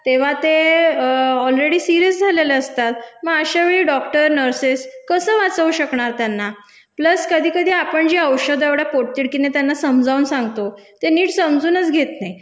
तेव्हा ते already serious झालेले असतात म अशावेळी डॉक्टर नर्सेस कसं वाचवू शकणार त्यांना प्लस कधी कधी आपण जे औषधं एवढ्या पोटतिडकीने त्यांना समजावून सांगतो ते नीट समजूनच घेत नाही